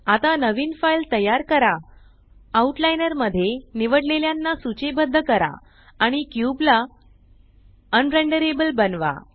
आता नवीन फाइल तयार करा आउट लाइनर मध्ये निवडलेल्याना सूचीबद्ध करा आणि क्यूब ला अनरेंडरेबल बनवा